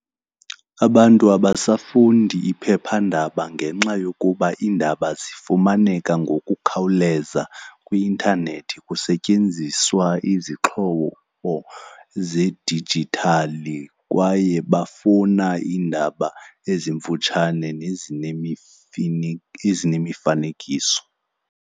Abantu abasafundi iphephandaba ngenxa yokuba iindaba zifumaneka ngokukhawuleza kwi-intanethi kusetyenziswa izixhobo zedijithali. Kwaye bafuna iindaba ezimfutshane nezinye ezinemifanekiso.